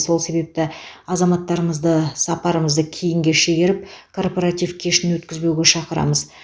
сол себепті азаматтарымызды сапарымызды кейінге шегеріп корпоратив кешін өткізбеуге шақырамыз